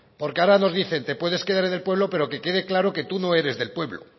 porque ahora nos dicen te puedes quedar en el pueblo pero que quede claro que tú no eres del pueblo